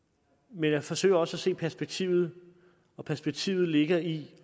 men jeg forsøger også at se perspektivet og perspektivet ligger i